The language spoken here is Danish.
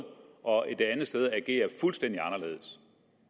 og et andet sted agerer fuldstændig anderledes